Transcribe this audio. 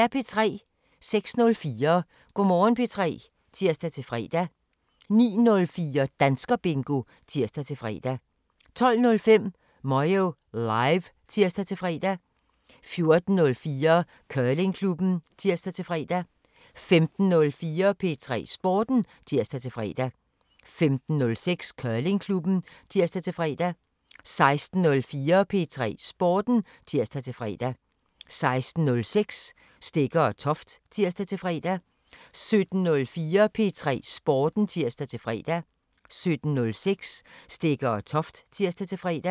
06:04: Go' Morgen P3 (tir-fre) 09:04: Danskerbingo (tir-fre) 12:05: Moyo Live (tir-fre) 14:04: Curlingklubben (tir-fre) 15:04: P3 Sporten (tir-fre) 15:06: Curlingklubben (tir-fre) 16:04: P3 Sporten (tir-fre) 16:06: Stegger & Toft (tir-fre) 17:04: P3 Sporten (tir-fre) 17:06: Stegger & Toft (tir-fre)